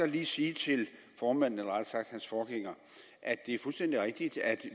lige sige til formanden eller rettere sagt hans forgænger at det er fuldstændig rigtigt at